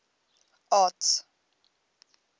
arts